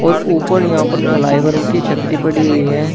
और ऊपर यहां पर फ्लाईओवर की छतरी पड़ी हुई है।